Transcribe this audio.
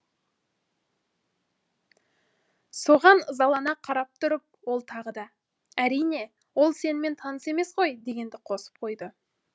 соған ызалана қарап тұрып ол тағы да әрине ол сенімен таныс емес қой дегенді қосып қойды